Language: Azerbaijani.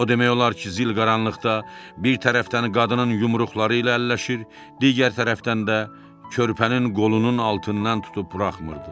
O demək olar ki, zil qaranlıqda bir tərəfdən qadının yumruqları ilə əlləşir, digər tərəfdən də körpənin qolunun altından tutub buraxmırdı.